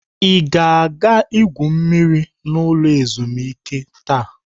Ị ga-egwu mmiri n'ụlọ ezumuike taa?